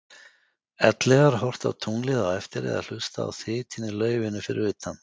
Ellegar horft á tunglið á eftir eða hlustað á þytinn í laufinu fyrir utan?